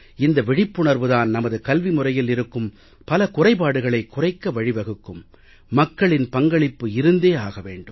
இந்த விழிப்புணர்வு தான் நமது கல்வி முறையில் இருக்கும் பல குறைபாடுகளைக் குறைக்க வழி வகுக்கும் மக்களின் பங்களிப்பு இருந்தே ஆக வேண்டும்